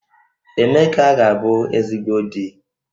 Emeka ga-abu ezigbo di